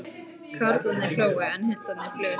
Karlarnir hlógu, en hundarnir flugust á.